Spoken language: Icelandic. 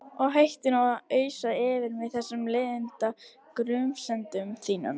Og hættu nú að ausa yfir mig þessum leiðinda grunsemdum þínum.